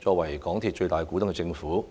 作為港鐵公司的最大股東，政府